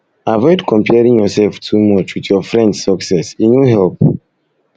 avoid comparing yourself too much with your friends success e no help